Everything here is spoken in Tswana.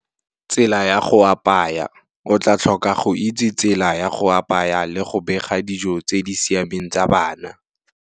Tsela ya go apaya, o tla tlhoka go itse tsela ya go apaya le go bega dijo tse di siameng tsa bana.